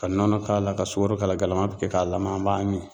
Ka nɔnɔ k'a la, ka sukaro k'a la , galama bɛ kɛ k'a lamaga an b'a min.